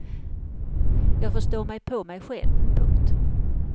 Jag förstår mig på mig själv. punkt